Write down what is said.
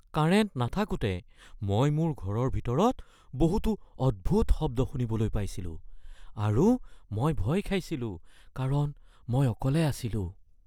Current নাথাকোতে মই মোৰ ঘৰৰ ভিতৰত বহুতো অদ্ভুত শব্দ শুনিবলৈ পাইছিলোঁ আৰু মই ভয় খাইছিলোঁ কাৰণ মই অকলে আছিলোঁ।